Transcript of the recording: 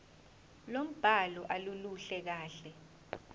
lombhalo aluluhle kahle